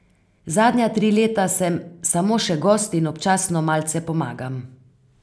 Zadnja tri leta sem samo še gost in občasno malce pomagam.